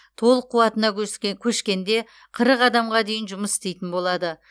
толық қуатына көшкенде қырық адамға дейін жұмыс істейтін болады